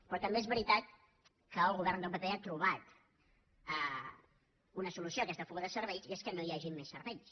però també és veritat que el govern del pp ha trobat una solució a aquesta fuga de cervells i és que no hi hagin més cervells